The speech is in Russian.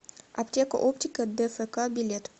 аптека оптика дфк билет